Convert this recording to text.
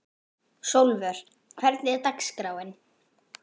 Sólvör, hvernig er dagskráin?